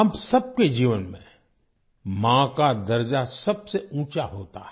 हम सबके जीवन में 'माँ' का दर्जा सबसे ऊँचा होता है